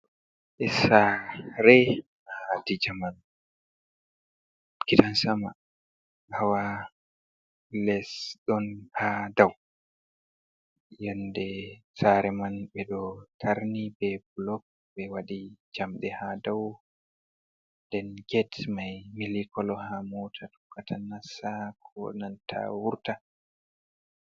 E sare a dijaman kitansama hawa lesdon ha dau yende tsare man be ɗo tarni be blog be waɗi jamde ha dau den get mai mili kolo ha mota tokkatanasa konanta wurta.